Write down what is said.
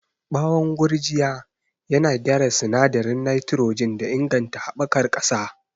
Bawon gurjiya yana gyara sinadarin nitrogen da inganta haɓakar ƙasa.